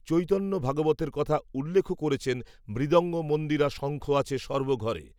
চৈতন্যভাগবতের কথা উল্লেখও করেছেন মৃদঙ্গ মন্দিরা শঙ্খ আছে সর্ব ঘরে